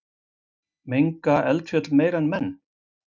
Menga eldfjöll meira en menn?